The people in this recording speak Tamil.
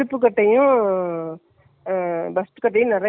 ஓரளவுக்கு loose வச்சி தைக்குறேன் அப்புறம் வேணும்ன்னா புடிச்சிக்கலாமா.